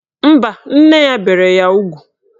Mba, nne ya bere ya ugwu